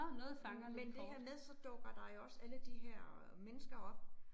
Men det her med, så dukker der jo også alle de her mennesker op